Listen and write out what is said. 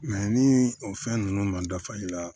ni o fɛn ninnu man dafa i la